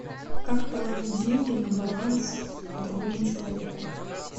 как положить деньги на баланс другому человеку